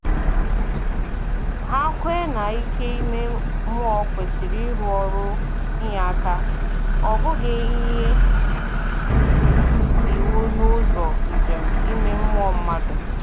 Hà kwè na ike ime mmụọ kwesị ịrụ ọrụ inyé aka, ọ bụghị inye iwu n’ụzọ njem ime mmụọ mmadụ.